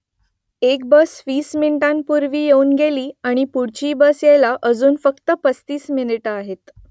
एक बस वीस मिनिटांपूर्वी येऊन गेली आणि पुढची बस यायला अजून फक्त पस्तीस मिनिटं आहेत